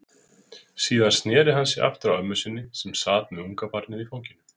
Síðan sneri hann sér aftur að ömmu sinni, sem sat með ungabarnið í fanginu.